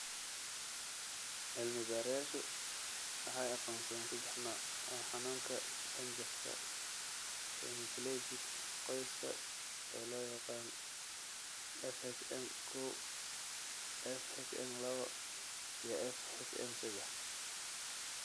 Cilmi-baarayaashu waxay aqoonsadeen saddex nooc oo xanuunka dhanjafka hemiplegic qoyska ee loo yaqaan FHM koow , FHM lawoo, iyo FHM seddax.